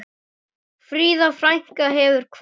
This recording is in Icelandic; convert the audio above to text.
Fríða frænka hefur kvatt.